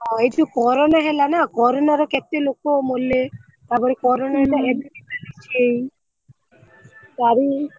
ହଁ ଏଇ ଯୋଉ corona ହେଲା ନା corona ର କେତେ ଲୋକ? ମଲେ ତାପରେ corona ତାରି।